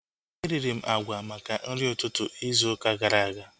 Eriri m agwa maka nri ụtụtụ izu ụka gara aga